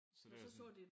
Så det sådan